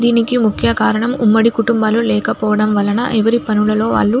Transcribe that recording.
దీనికి ముఖ్య కారణం ఉమ్మడి కుటుంబాలు లేకపోడం వల్లన ఎవరి పనులలో వాలు --